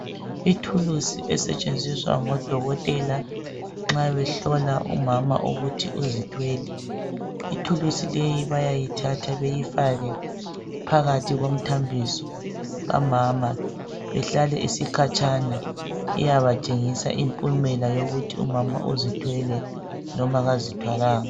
Ithulusi esetshenziswa ngodokotela nxa behlola umama ukuthi uzithwele. Ithulusi leyi bayayithatha beyifake phakathi komthambiso kamama ihlale isikhatshana iyabatshengisa impumela yokuthi umama uzithwele loba kazithwalanga.